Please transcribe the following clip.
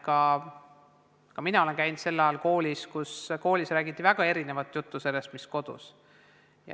Ka mina olen koolis käinud sel ajal, kui räägiti väga erinevat juttu sellest, mis kodus.